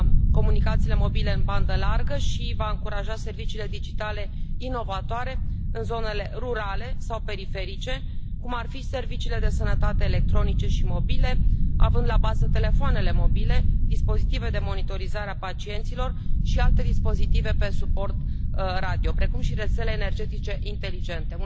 comunicațiile mobile în bandă largă și va încuraja serviciile digitale inovatoare în zonele rurale sau periferice, cum ar fi serviciile de sănătate electronice și mobile, având la bază telefoanele mobile, dispozitive de monitorizare a pacienților și alte dispozitive pe suport radio, precum și rețele energetice inteligente.